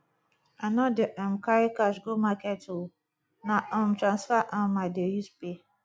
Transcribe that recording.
i no dey um carry cash go market o na um transfer um i dey use pay